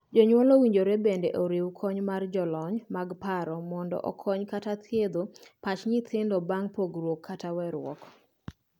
Jonyuol owinjore bende oriw kony mar jalony' mag paro mondo okony (othiedh) pach nyithindo bang' pogruok kata weeruok.